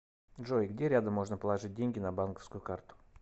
джой где рядом можно положить деньги на банковскую карту